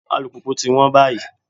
Alùpùpù ti wọ́n báyìí.